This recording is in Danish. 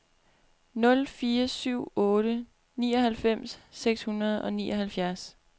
nul fire syv otte nioghalvfems seks hundrede og nioghalvfjerds